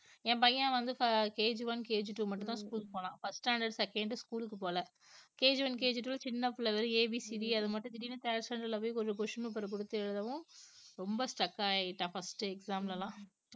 என் பையன் வந்து fi~KGoneKGtwo மட்டும்தான் school போனான் first standard second school க்கு போகலை KGoneKGtwo சின்ன பிள்ளை வெறும் A B C D அது மட்டும் திடீர்ன்னு கொஞ்சம் question paper கொடுத்து எழுதவும் ரொம்ப stuck ஆயிட்டான் first exam ல எல்லாம்